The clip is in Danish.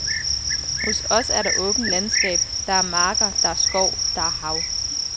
Hos os er der åbent landskab, der er marker, der er skov, der er hav.